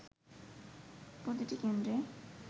প্রতিটি কেন্দ্রে